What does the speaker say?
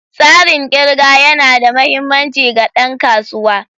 Tsarin ƙirga yana da mahimmanci ga ɗan kasuwa.